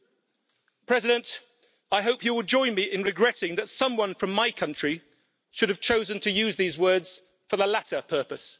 Mr President, I hope you will join me in regretting that someone from my country should have chosen to use these words for the latter purpose.